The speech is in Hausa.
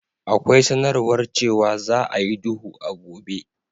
Akwai sanarwar cewa za a yi duhu a gobe.